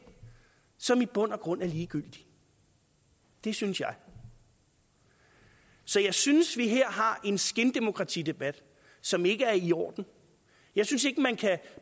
som i bund og grund er ligegyldige det synes jeg så jeg synes vi her har en skindemokratidebat som ikke er i orden jeg synes ikke man kan